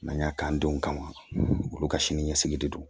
N'an y'a k'an denw kama olu ka sini ɲɛsigi de don